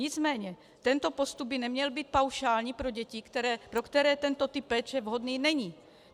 Nicméně tento postup by neměl být paušální pro děti, pro které tento typ péče vhodný není.